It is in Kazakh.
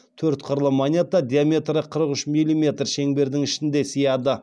төрт қырлы монета диаметрі қырық үш милиметр шеңбердің ішіне сыяды